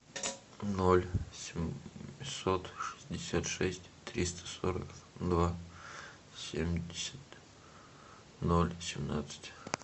ноль семьсот шестьдесят шесть триста сорок два семьдесят ноль семнадцать